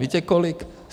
Víte kolik?